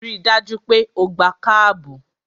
Ri dájú pé o gbé kábù!